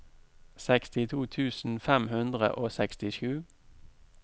sekstito tusen fem hundre og sekstisju